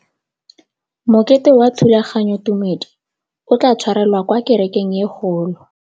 Mokete wa thulaganyôtumêdi o tla tshwarelwa kwa kerekeng e kgolo.